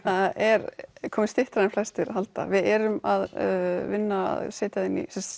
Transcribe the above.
það er komið styttra en flestir halda við erum að vinna að setja eða